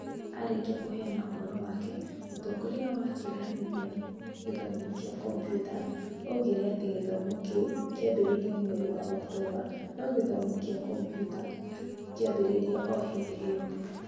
Arĩkia kũheana ũhoro wake, mũtongoria wa kĩrathi gĩa gĩthomo kĩa Computer oigire atĩ gĩthomo kĩu kĩambĩrĩria mweri wa Oktomba, no gĩthomo kĩa Komputa kĩambĩrĩirie o hĩndĩ ĩyo.